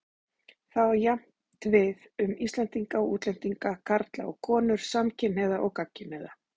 Það á jafnt við um Íslendinga og útlendinga, karla og konur, samkynhneigða og gagnkynhneigða.